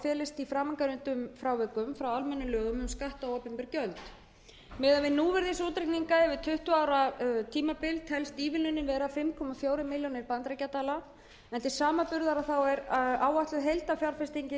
felist í framangreindum frávikum frá almennum lögum um skatta og opinber gjöld miðað við núvirðisútreikninga yfir tuttugu ára tímabil telst ívilnunin vera fimm komma fjórar milljónir bandaríkjadala en til samanburðar er áætluð heildarfjárfesting